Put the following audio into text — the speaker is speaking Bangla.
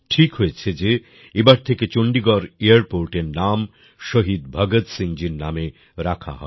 ঠিক হয়েছে যে এবার থেকে চন্ডীগড় এয়ারপোর্ট এর নাম শহীদ ভগৎ সিং জীর এর নামে রাখা হবে